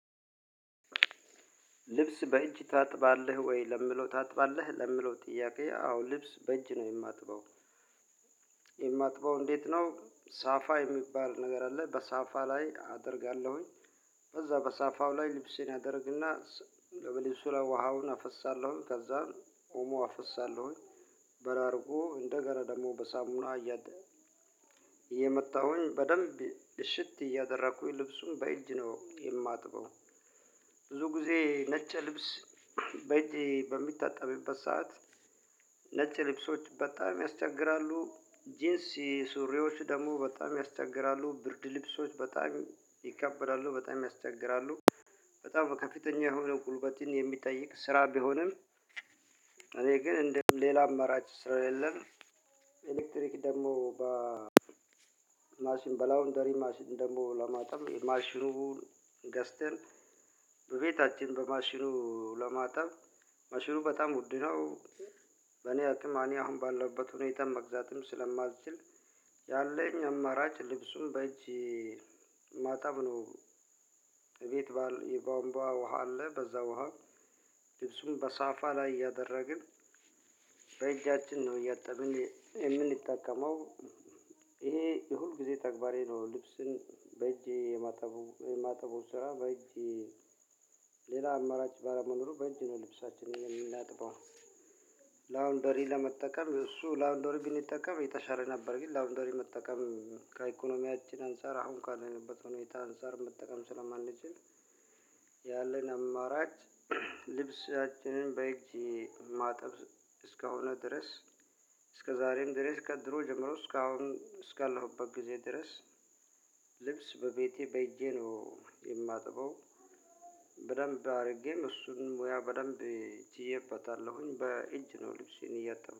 ልብስ በእጅ ታጥባለህ ወይ? ለሚለው ታጥባለህ ለምለው ጥያቄ አዎ ልብስ በእጅ ነው የማጥበው። የማጥበው እንዴት? ነው ሳፋ የሚባል ነገር አለ በሳፋ ላይ አደርጋለሁኝ። በዛ በሳፋው ላይ ልብሴን አደርግና ብልብሱ ላይ ውሃውን አፈሳለሁኝ ከዛ ኦሞ አፈሳለሁኝ። በላርጎ እንደገና ደግሞ በሳሙና እያጠ እየመታሁኝ በደንብ እሽት እያደረኩኝ ልብሱን በእጅ ነው የማጥበው። ብዙ ጊዜ ነጭ ልብስ በእጄ በሚታጠብበት ሰዓት። ነጭ ልብሶች በጣም ያስቸግራሉ ጅንሲ ሱሪዎች ደግሞ በጣም ያስቸግራሉ ብርድ ልብሶች በጣም ይካበዳሉ በጣም ያስቸግራሉ። በጣም ከፊተኛ የሆነ ጉልበትን የሚጠይቅ ስራ ቢሆንም። እኔ ግን እንደውም ሌላ አማራጭ ስለሌለን። ኤሌክትሪክ ደግሞ በማሽን በላውንደሪ ማሽን ደግሞ ለማጠብ ማሽኑን ገዝተን በቤታችን በማሽኑ ለማጠብ ማሽኑ በጣም ውድ ነው። በኔ አቅም አኔ አሁን ባለበት ሁኔታም መግዛትም ስለማትችል። ያለኝ አማራጭ ልብሱን በእጅ ማጠብ ነው። ቤት የቧምባ ውሃ አለ በዛ ውሃ። ልብሱን በሳፋ ላይ እያደረግን በእጃችን ነው እያጠበን የምንጠቀመው። ይሄ የሁልጊዜ ተግባሬ ነው። ልብስን በእጄ የማጠቡ የማጠቡ ስራ በእጄ አማራጭ ባለመኖሩ በእጅ ነው ልብሳችንን የምናጥበው። ላውንደሪ ለመጠቀም እሱ ላውንደሪ ግን ብንጠቀም የተሻለ ነበር ግን ላውንደሪ መጠቀም ከኢኮኖሚያችን አንፃር አሁን ካለንበት ሁኔታ አንፃር መጠቀም ስለማንችል። ያለን አማራጭ ልብሳችንን በእጅ ማጠብ እስከሆነ ድረስ። እስከ ዛሬም ድረስ ከድሮ ጀምሮ እስካሁን እስካለውበት ድረስ ልብስ በቤቴ በእጄ ነው የማጥበው። በደንብ አድርጌ እሱን ሙያ በደንብ ችየበታለሁኝ በእጅ ነው ልብስን እያጠበኩ